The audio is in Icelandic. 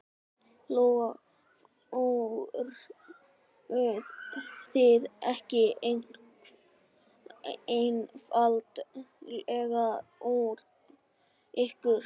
Lóa: Fóruð þið ekki einfaldlega fram úr ykkur?